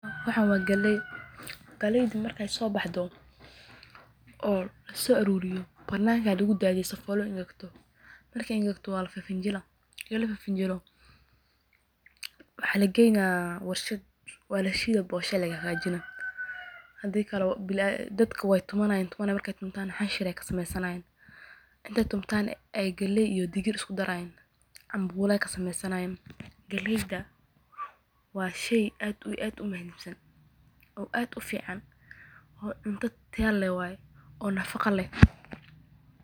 Waxaan waa galeey galeyda marka lasoo aruuriyo banaanka ayaa lagu daadiya si aay u engegto, markaay engegto waa la fifinjila kadib warshad ayaa lageyna bosha ayaa laga hagaajina, hadii kale dadka waay tumanayan xanshir ayaa laga sameyna, inta latumo ayaa galey iyo digir lisku daraa cambula ayaa laga karsanaa, waa cunto nafaqo leh.